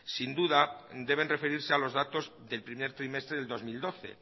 sin duda deben referirse a los datos del primer trimestre del dos mil doce